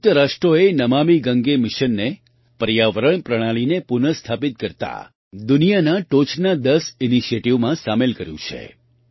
સંયુક્ત રાષ્ટ્રોએ નમામિ ગંગે મિશનને પર્યાવરણ પ્રણાલિને પુનઃસ્થાપિત કરતા દુનિયાના ટોચના દસ ઇનિશિએટિવમાં સામેલ કર્યું છે